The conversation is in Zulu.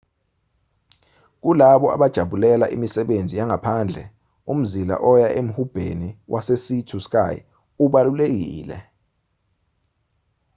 kulabo abajabulela imisebenzi yangaphandle umzila oya emhubheni wesea to sky ubalulekile